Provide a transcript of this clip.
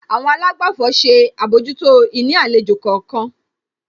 Àwọn àlágbàfọ̀ ṣe àbójútó ìní àlejò kọ̀ọ̀kan.